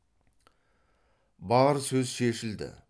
бар сөз шешілді